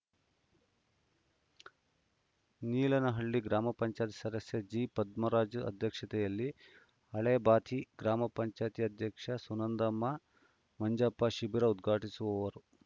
ನೀಲಾನಹಳ್ಳಿ ಗ್ರಾಮ ಪಂಚಾಯತ್ ಸದಸ್ಯ ಜೆಪದ್ಮರಾಜ ಅಧ್ಯಕ್ಷತೆಯಲ್ಲಿ ಹಳೇ ಬಾಚಿ ಗ್ರಾಮ ಪಂಚಾಯತಿ ಅಧ್ಯಕ್ಷೆ ಸುನಂದಮ್ಮ ಮಂಜಪ್ಪ ಶಿಬಿರ ಉದ್ಘಾಟಿಸುವರು